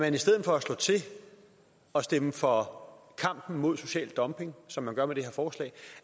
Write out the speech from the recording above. i stedet for at slå til og stemme for kampen mod social dumping som vi gør med det her forslag